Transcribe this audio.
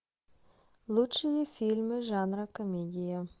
лучшие фильмы жанра комедия